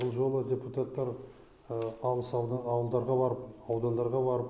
бұл жолы депутаттар алыс ауылдарға барып аудандарға барып